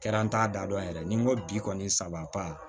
Kɛra an t'a da dɔn yɛrɛ ni n ko bi kɔni saba